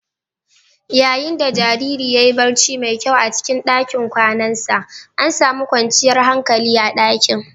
Yayin da jaririn ya yi barci mai kyau a cikin ɗakin kwanansa, an sami kwanciyar hankali a dakin